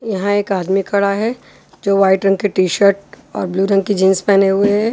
यहाँ एक आदमी खड़ा है जो वाइट रंग की टीशर्ट और ब्लू रंग की जीन्स पहने हुए है।